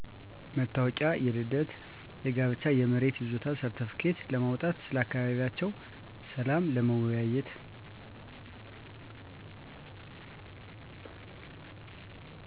መታወቂያ፤ የልደት፤ የጋብቻ፤ የመሬት ይዞታ ሰርትፍኬት ለማውጣት፤ ስለ አካባቢያቸው ሰላም ለመወያየት።